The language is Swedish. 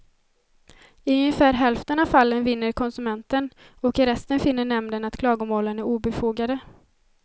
I ungefär hälften av fallen vinner konsumenten och i resten finner nämnden att klagomålen är obefogade.